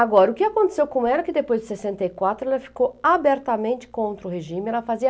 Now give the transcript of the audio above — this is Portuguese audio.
Agora, o que aconteceu com ela que depois de sessenta e quatro ela ficou abertamente contra o regime, ela fazia